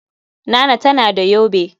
Nana tana da yobe.